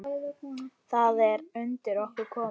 Það er undir okkur komið.